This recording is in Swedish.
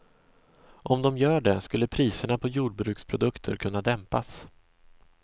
Om de gör det, skulle priserna på jordbruksprodukter kunna dämpas.